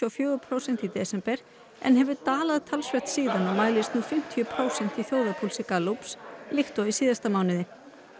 og fjögur prósent í desember en hefur dalað talsvert síðan og mælist nú fimmtíu prósent í þjóðarpúlsi Gallups líkt og í síðasta mánuði